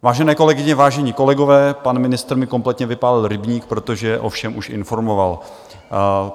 Vážené kolegyně, vážení kolegové, pan ministr mi kompletně vypálil rybník, protože o všem už informoval.